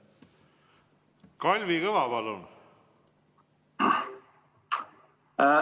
Kalvi Kõva, palun!